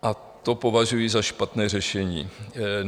A to považuji za špatné řešení.